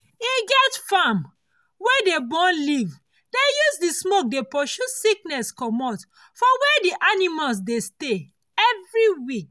e get farm wey dey burn leave dey use the smoke dey pursue sickness comot for where the animals dey stay every week